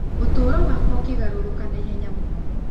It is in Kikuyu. Ũtũũro wakwa ũkĩgarũrũka na ihenya mũno.